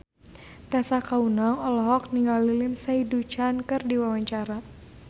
Tessa Kaunang olohok ningali Lindsay Ducan keur diwawancara